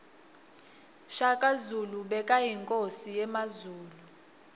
shaka zulu bekayinkosi yemazulu